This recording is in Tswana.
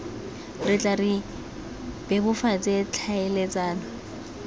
re tle re bebofatse tlhaeletsano